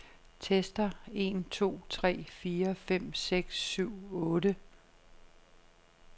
Tester en to tre fire fem seks syv otte.